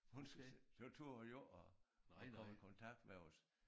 Hun så turde hun jo ikke at at komme i kontakt med os